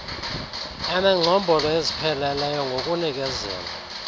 enengcombolo ezipheleleyo ngokunikezelwa